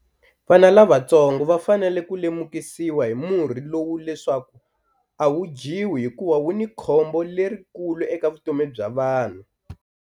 Vana lavatsongo va fanele ku lemukisiwa hi murhi lowu leswaku a wu dyiwi hikuva wu ni khombo lerikulu eka vutomi bya vanhu.